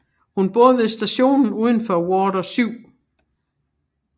Hun bor ved stationen udenfor Water 7